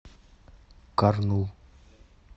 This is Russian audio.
карнул